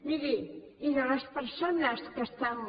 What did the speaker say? miri i de les persones que estan